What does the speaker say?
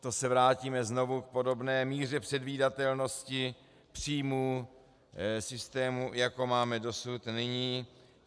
To se vrátíme znovu k podobné míře předvídatelnosti příjmů systému, jako máme dosud nyní?